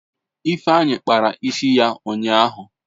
Ifeanyi kpara isi ya ụnyahụ.